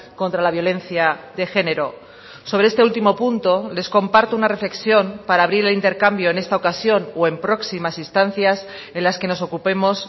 contra la violencia de género sobre este último punto les comparto una reflexión para abrir el intercambio en esta ocasión o en próximas instancias en las que nos ocupemos